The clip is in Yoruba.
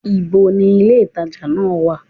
Ibo ni ilé-ìtàjà náà wà?